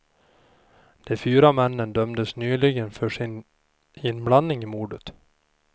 De fyra männen dömdes nyligen för sin inblandning i mordet.